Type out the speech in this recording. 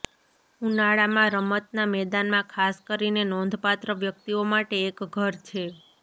ઉનાળામાં રમતનાં મેદાનમાં ખાસ કરીને નોંધપાત્ર વ્યક્તિઓ માટે એક ઘર છે